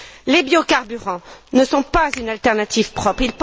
Les biocarburants ne sont pas une alternative propre.